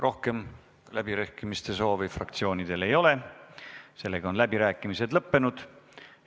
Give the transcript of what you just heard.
Rohkem läbirääkimiste soovi fraktsioonidel ei ole, läbirääkimised on lõppenud.